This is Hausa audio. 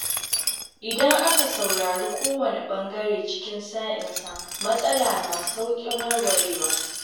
Idan aka saurari kowane ɓangare cikin sa-in-sa, matsala na sauƙin warwarewa.